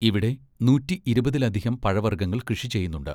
ഇവിടെ നൂറ്റിഇരുപതിൽ അധികം പഴവർഗ്ഗങ്ങൾ കൃഷി ചെയ്യുന്നുണ്ട്.